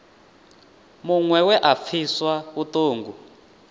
muṅwe we a pfiswa vhuṱungu